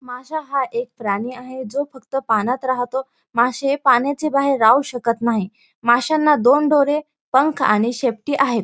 मासा हा एक प्राणी आहे जो फक्त पाण्यात राहतो माशे पाण्याच्या बाहेर राहू शकत नाही माश्याना दोन डोळे पंख आणि शेपटी आहेत.